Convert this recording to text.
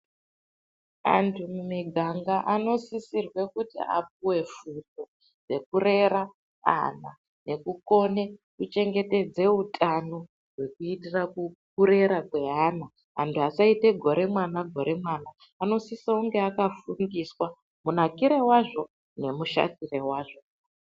Andu mumiganga anosisirwe kuti apuwe fundo yekurera ana nekukone kuchengetedza utano wekuitira kurera kweana andu asayita gore mwana gore mwana anosisonge akafundiswa munakiro wazvo nemushatiro wazvo.